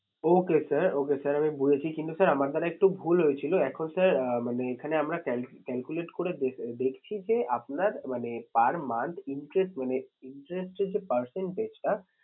Okay sir, okay sir আমি বুঝেছি কিন্তু sir আমার দ্বারা একটু ভুল হয়েছিল এখন sir আঁ মানে এখানে আমরা calculate করে দেখছি যে আপনার মানে per month interest মানে interest এর যে percentage টা